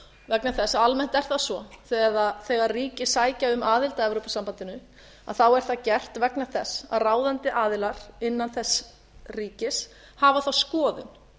vegna þess að almennt er það svo þegar ríki sækja um aðild að evrópusambandinu er það gert vegna þess að ráðandi aðilar innan þess ríkis hafa þá skoðun